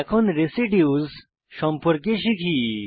এখন রেসিডিউস সম্পর্কে শিখি